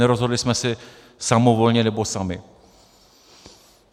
Nerozhodli jsme se samovolně, nebo sami.